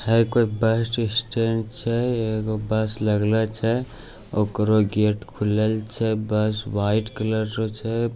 है कोई bus stand छे एगो बस लगलै छे ओकरो गेट खुलल छे बस वाइट कलर रो छे |